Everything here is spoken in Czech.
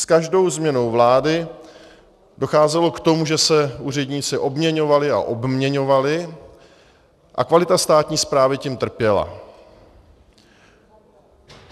S každou změnou vlády docházelo k tomu, že se úředníci obměňovali a obměňovali a kvalita státní správy tím trpěla.